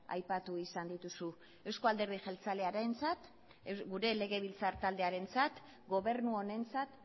aipatu izan dituzu euzko alderdi jeltzalearentzat gure legebiltzar taldearentzat gobernu honentzat